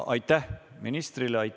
Aitäh ministrile!